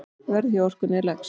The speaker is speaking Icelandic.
Verðið hjá Orkunni er lægst.